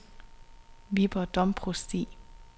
Viborg Domprovsti